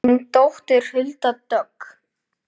Þín dóttir Hulda Dögg.